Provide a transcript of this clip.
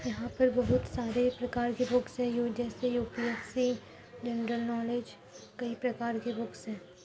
यहाँ पे बहोत सारे प्रकार के बुक्स हैं यू जैसे यूपीएससी जनरल नॉलेज कई प्रकार के बुक्स हैं।